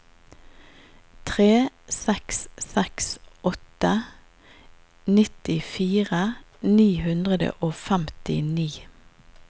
tre seks seks åtte nittifire ni hundre og femtini